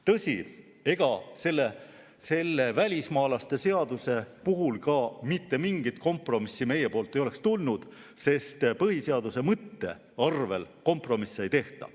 Tõsi, välismaalaste seaduse puhul mingit kompromissi meie poolt ei oleks tulnudki, sest põhiseaduse mõtte arvel kompromisse ei tehta.